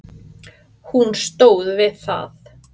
Hún stóð við það.